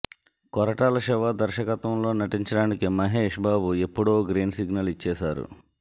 కొరటాల శివ దర్శకత్వంలో నటించడానికి మహేష్ బాబు ఎప్పుడో గ్రీన్ సిగ్నల్ ఇచ్చేశారు